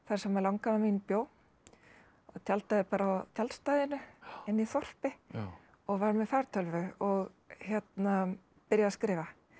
sem langamma mín bjó tjaldaði bara á tjaldstæðinu inni í þorpi og var með fartölvu og byrjaði að skrifa